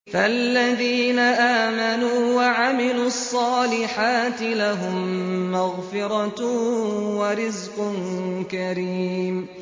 فَالَّذِينَ آمَنُوا وَعَمِلُوا الصَّالِحَاتِ لَهُم مَّغْفِرَةٌ وَرِزْقٌ كَرِيمٌ